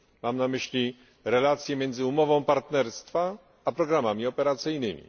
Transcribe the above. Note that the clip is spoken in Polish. Mam na myśli relacje między umową partnerstwa a programami operacyjnymi.